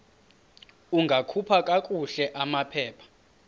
ungakhupha kakuhle amaphepha